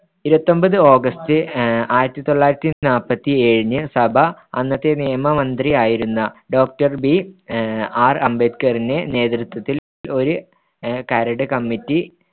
ഇരുപത്തിയൊമ്പത് ഓഗസ്റ്റ് ആഹ് ആയിരത്തിതൊള്ളായിരത്തിനാല്പത്തിയേഴിന് സഭ അന്നത്തെ നിയമമന്ത്രി ആയിരുന്ന doctorBR അംബേദ്‌കറിന്റെ നേതൃത്വത്തിൽ ഒരു കരട് കമ്മിറ്റി